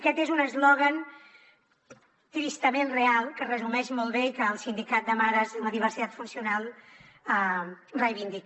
aquest és un eslògan tristament real que ho resumeix molt bé i que el sindicat de mares en la diversitat funcional reivindica